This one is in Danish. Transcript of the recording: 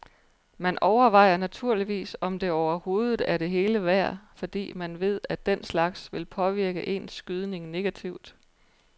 Man overvejer naturligvis om det overhovedet er det hele værd, fordi man ved at den slags vil påvirke ens skydning negativt.